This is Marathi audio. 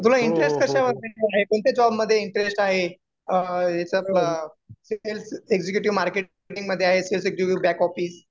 तुला इंटरेस्ट कशामध्ये आहे. कोणत्या जॉबमधे इंटरेस्ट आहे? अ याच्यात आपलं सेल्स एक्झिक्युटिव्ह मार्केटिंग मध्ये आहे. सेल्स एक्झिक्युटिव्ह बॅक ऑफिस मध्ये आहे.